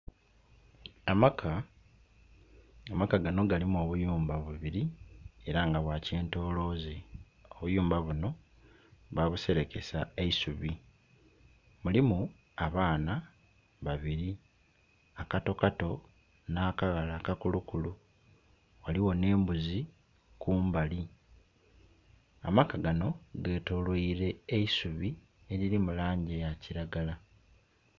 Amaka, amaka gano galimu obuyumba bubiri era nga bwa kyentolooze, obuyumba buno baabuserekesa eisubi, mulimu abaana babiri, akatokato, nakaghala akakulukulu. Ghaligho n'embuzi kumbali, amaka gano getoloilwa eisubi eriri mu langi ya kiragala.